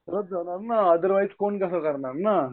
तरच जाणार ना अदरवाईज कोण घर करणार